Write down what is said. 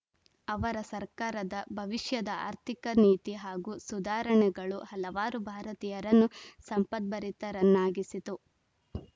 ಅವರ ಸರ್ಕಾರದ ಭವಿಷ್ಯದ ಆರ್ಥಿಕ ನೀತಿ ಹಾಗೂ ಸುಧಾರಣೆಗಳು ಹಲವಾರು ಭಾರತೀಯರನ್ನು ಸಂಪದ್ಭರಿತರನ್ನಾಗಿಸಿತು